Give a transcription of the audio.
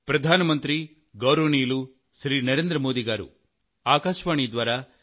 ప్రియమైన నా దేశ వాసులారా